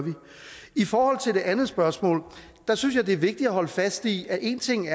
i forhold til det andet spørgsmål synes jeg det er vigtigt at holde fast i at en ting